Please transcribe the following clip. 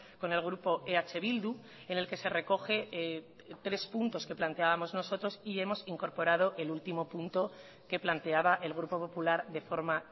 con el grupo eh bildu en el que se recoge tres puntos que planteábamos nosotros y hemos incorporado el último punto que planteaba el grupo popular de forma